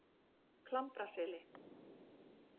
Klambraseli